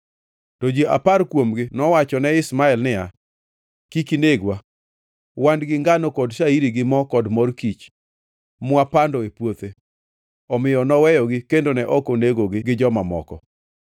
To ji apar kuomgi nowachone Ishmael niya, “Kik inegwa! Wan gi ngano kod shairi gi mo, kod mor kich, mwapando e puothe.” Omiyo noweyogi kendo ne ok onegogi gi joma moko.